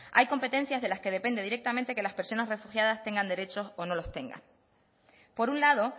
hay competencias de las que dependen directamente que las personas tengan derechos o no las tengan por un lado